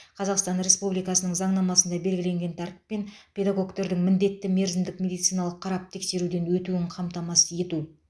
қазақстан республикасының заңнамасында белгіленген тәртіппен педагогтердің міндетті мерзімдік медициналық қарап тексеруден өтуін қамтамасыз ету